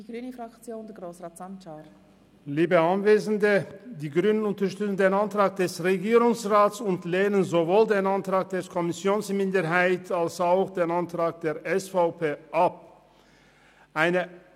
Die grüne Fraktion unterstützt den Antrag der Regierung und lehnt sowohl den Antrag der Kommissionsminderheit als auch den Antrag der SVP ab.